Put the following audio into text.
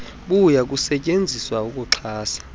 buya kusetyenziswa ukuxhasa